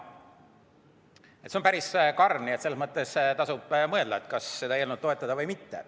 See on päris karm, nii et selles mõttes tasub mõelda, kas seda eelnõu toetada või mitte.